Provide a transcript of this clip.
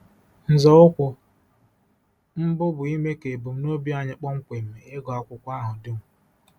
Nzọụkwụ mbụ bụ ime ka ebumnobi anyị kpọmkwem — ịgụ akwụkwọ ahụ dum.